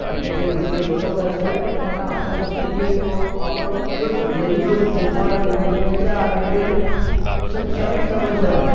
તમે જે કીધું એ બરોબર છે પણ પેલા આપણે સુધરી જઈએ તો આપણો એક સુધરે બે સુધરે ત્રણ ધીમે ધીમે ચાર એવી રીતે સમજી શકો સાહેબ